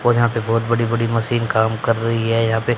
और यहां पे बहोत बड़ी बड़ी मशीन काम कर रही है यहां पे--